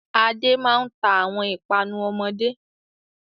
Adé máa ń ta àwọn ìpanu ọmọdé.